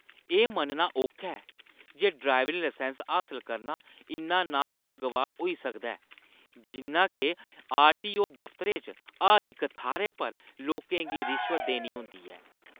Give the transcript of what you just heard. एह् मन्नना औखा ऐ जे ड्राइविंग लाइसैंस हासल करना इन्ना नाखुशगवार होई सकदा ऐ जिन्ना के आरटीओ दफतरै च हर इक थाह्‌रै पर लोकें गी रिश्वत देनी होंदी ऐ।